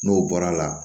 N'o bɔra la